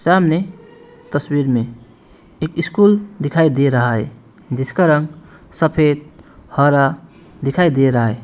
सामने तस्वीर में एक स्कूल दिखाई दे रहा है जिसका रंग सफेद हरा दिखाई दे रहा है।